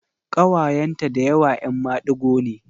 Ƙawayenta da yawa ‘yan madigo ne.